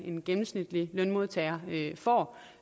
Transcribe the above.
en gennemsnitlig lønmodtager får